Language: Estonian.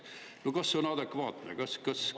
No kas see on adekvaatne?